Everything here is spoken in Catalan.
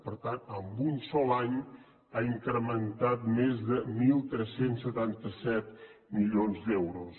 per tant en un sol any ha incrementat més de tretze setanta set milions d’euros